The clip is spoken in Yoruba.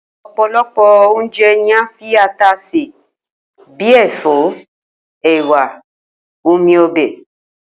O̩̩pòlo̩pò̩ oúnje̩ ni à ń fi ata sè bí i è̩fó̩, è̩wà, omi o̩bè̩